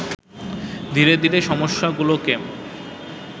ধীরে ধীরে সমস্যাগুলোকে